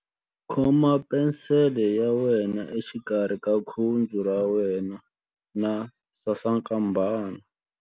Khoma penisele ya wena exikarhi ka khudzu ra wena na sasankambana.